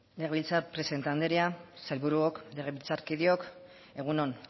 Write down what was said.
legebiltzar presidente anderea sailburuok legebiltzarkideok egun on